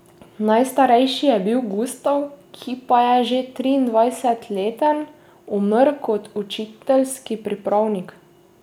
Najstarejši je bil Gustav, ki pa je že triindvajsetleten umrl kot učiteljski pripravnik.